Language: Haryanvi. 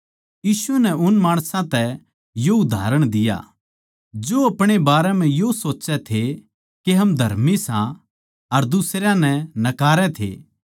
यीशु नै उन माणसां तै यो उदाहरण दिया जो अपणे बारें म्ह यो सोच्चै थे के हम धर्मी सां अर दुसरयां नै नकार थे